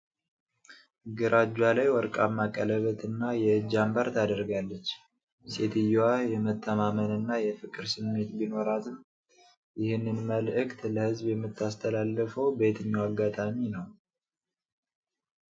ግራ እጇ ላይ ወርቃማ ቀለበትና የእጅ አምባር ታደርጋለች። ሴትየዋ የመተማመንና የፍቅር ስሜት ቢኖራትም፣ ይህንን መልእክት ለሕዝብ የምታስተላልፈው በየትኛው አጋጣሚ ነው?